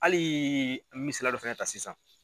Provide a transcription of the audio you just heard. Hali misela dɔ fana ta sisan.